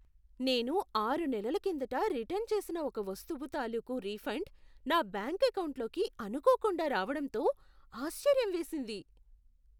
నేను ఆరు నెలల కిందట రిటర్న్ చేసిన ఒక వస్తువు తాలూకు రీఫండ్ నా బ్యాంకు ఎకౌంటులోకి అనుకోకుండా రావడంతో ఆశ్చర్యం వేసింది.